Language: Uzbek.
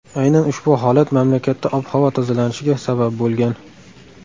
Aynan ushbu holat mamlakatda ob-havo tozalanishiga sabab bo‘lgan.